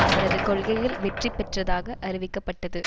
அவரது கொள்கைகள் வெற்றி பெற்றதாக அறிவிக்கப்பட்டது